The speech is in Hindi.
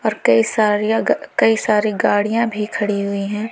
और कई सरिया कई सारी गाड़ियां भी खड़ी हुई है।